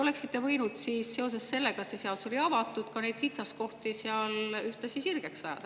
Oleksite võinud seoses sellega, et see seadus oli avatud, ka neid kitsaskohti ühtlasi sirgeks ajada.